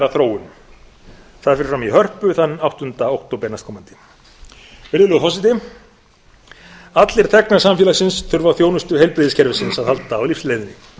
þróun það fer fram í hörpu þann áttunda október næstkomandi virðulegur forseti allir þegnar samfélagsins þurfa á þjónustu heilbrigðiskerfisins að halda á lífsleiðinni